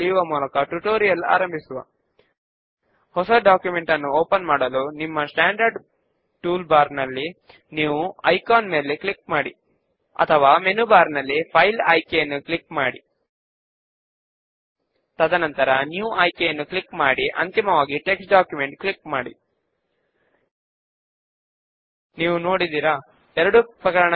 in the query design window లో కేవలము ఇంకా చెక్డ్ ఇన్ కాని బుక్స్ ను మాత్రమే చూపించడానికి ఒక క్రైటీరియన్ ను యాడ్ చేద్దాము